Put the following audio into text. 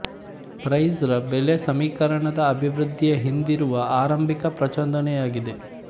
price ರ ಬೆಲೆ ಸಮೀಕರಣದ ಅಭಿವೃದ್ಧಿಯ ಹಿಂದಿರುವ ಆರಂಭಿಕ ಪ್ರಚೋದನೆಯಾಗಿದೆ